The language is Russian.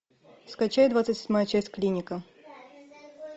скачай двадцать седьмая часть клиника